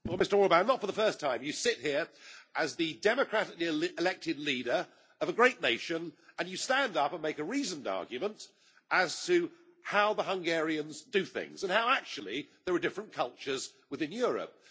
Mr President, Mr Orbán, not for the first time you sit here as the democratically elected leader of a great nation, and you stand up and make a reasoned argument as to how the Hungarians do things and how there are different cultures within Europe.